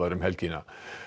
um helgina